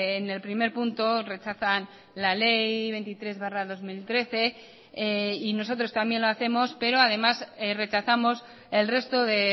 en el primer punto rechazan la ley veintitrés barra dos mil trece y nosotros también lo hacemos pero además rechazamos el resto de